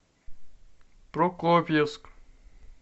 прокопьевск